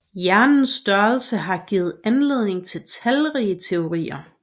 Hjernens størrelse har givet anledning til talrige teorier